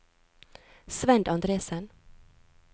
Svend Andresen